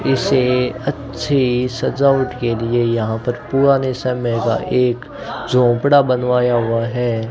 इससे अच्छी सजावट के लिए यहां पर पुराने समय का एक झोपड़ा बनवाया हुआ है।